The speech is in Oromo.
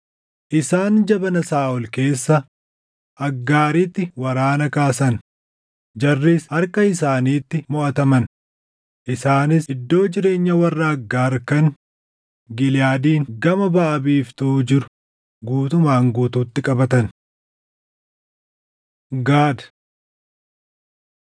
Isaan jabana Saaʼol keessa Aggaariitti waraana kaasan; jarris harka isaaniitti moʼataman; isaanis iddoo jireenyaa warra Aggaar kan Giliʼaadiin gama baʼa biiftuu jiru guutumaan guutuutti qabatan. Gaad